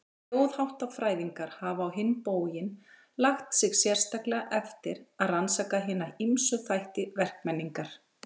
Þjóðháttafræðingar hafa á hinn bóginn lagt sig sérstaklega eftir að rannsaka hina ýmsu þætti verkmenningar.